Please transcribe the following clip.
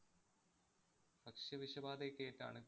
ഭക്ഷ്യ വിഷബാധയോക്കെയേറ്റാണ്